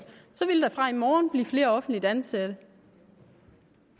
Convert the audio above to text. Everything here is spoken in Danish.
så ville der fra i morgen blive flere offentligt ansatte